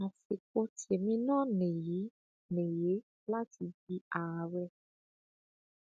àsìkò tèmí náà nìyí nìyí láti di àárẹ